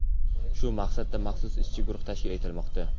Shu maqsadda maxsus ishchi guruh tashkil etilmoqda.